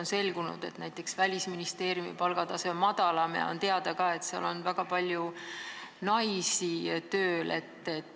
On selgunud, et näiteks Välisministeeriumi palgatase on madalam, ja on ka teada, et seal on tööl väga palju naisi.